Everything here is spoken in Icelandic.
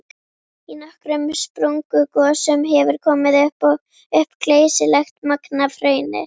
Í nokkrum sprungugosum hefur komið upp geysilegt magn af hrauni.